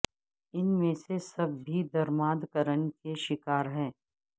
ان میں سے سب بھی درمادکرن کے شکار ہیں